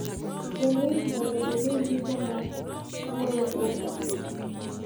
Gwel link mondo ine ndiko ma wuoyo kuom wachno.